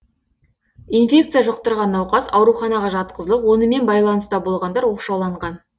инфекция жұқтырған науқас ауруханаға жатқызылып онымен байланыста болғандар оқшауланған